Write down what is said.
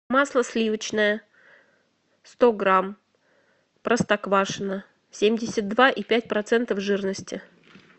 масло сливочное сто грамм простоквашино семьдесят два и пять процентов жирности